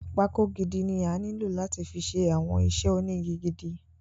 Pákó gidi ni ó nílò láti fi ṣe àwọn iṣẹ́ ónigi gidi.